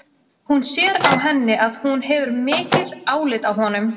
Hún sér á henni að hún hefur mikið álit á honum.